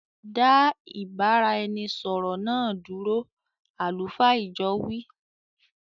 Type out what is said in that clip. Da ìbáraẹnisọọ̀rọ̀ náà dúró "àlùfáà ìjọ wii".